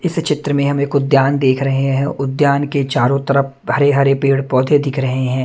इस चित्र में हम एक उद्यान देख रहे हैं उद्यान के चारों तरफ हरे हरे पेड़ पौधे दिख रहे हैं।